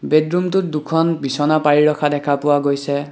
Bed ৰুমটোত দুখন বিছনা পাৰি ৰখা দেখা পোৱা গৈছে।